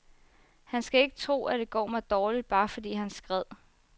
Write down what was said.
Han skal ikke tro, at det går mig dårligt, bare fordi han skred.